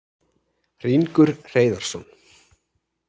Hringur Hreiðarsson,